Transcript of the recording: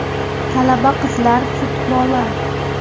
Talaba qizlar futboli.